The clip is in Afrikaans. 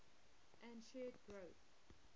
and shared growth